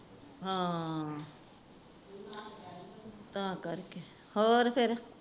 ਹਾਂ ਤਾ ਕਰਕੇ ਹੋਰ ਫੇਰ